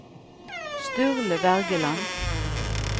Sturle Wergeland